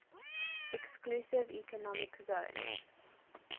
exclusive economic zone